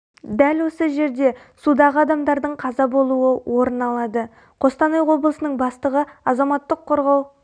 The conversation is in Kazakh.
дәл осы жерде судағы адамдардың қаза болуы орын алады қостанай облысының бастығы азаматтық қорғау